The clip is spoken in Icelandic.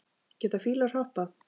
Geta fílar hoppað?